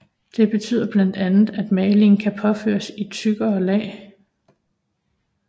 Det betyder blandt andet at malingen kan påføres i tykkere lag